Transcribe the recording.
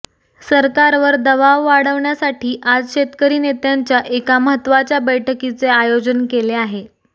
सरकारवर दबाव वाढवण्यासाठी आज शेतकरी नेत्यांच्या एका महत्वाच्या बैठकीचे आयोजन केले आहे